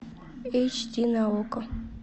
эйч ди на окко